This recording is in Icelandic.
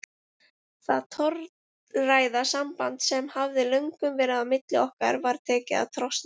Það torræða samband sem hafði löngum verið á milli okkar var tekið að trosna.